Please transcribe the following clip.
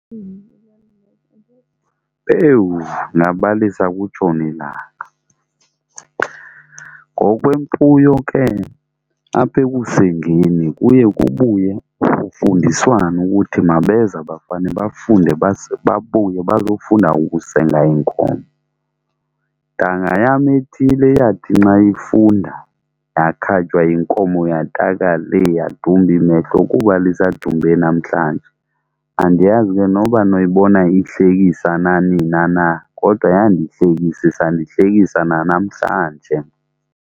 Pewu, ndingabalisa kutshone ilanga. Ngokwemfuyo ke apha ekusengeni kuye kubuye kufundiswane ukuthi mabeze abafane bafunde babuye bazofunda ukusenga iinkomo. Ntanga yam ethile eyathi nxa ifunda yakhatywa yinkomo yataka lee yadumba imehlo kuba lisadumbe namhlanje. Andiyazi ke noba noyibona ihlekisa na nina na, kodwa yandihlekisa isandihlekisa nanamhlanje mna.